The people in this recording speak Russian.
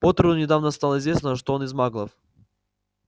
поттеру недавно стало известно что он из маглов